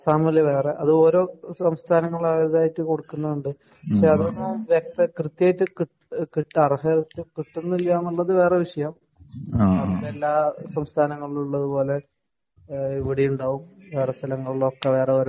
ആസ്സാമില് വേറെ അത് ഓരോ സംസ്ഥാനങ്ങളതായിട്ട് കൊടുക്കുന്നത് കൊണ്ട്പക്ഷേ അതൊന്നും വ്യക്ത കൃത്യായിട്ട് അർഹത കിട്ടുന്നില്ല എന്നുള്ളത് വേറെ വിഷയം. എല്ലാ സംസ്ഥാനങ്ങളിലുള്ളത് പോലെ ഇവിടെയും ഉണ്ടാകും. വേറെ സ്ഥലങ്ങളിലുമൊക്കെ ഓരോരോ